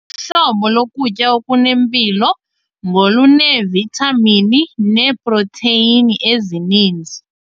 Uhlobo lokutya okunempilo ngoluneevithamini neeprotheyini ezininzi.